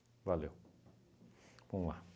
valeu. Vamos lá.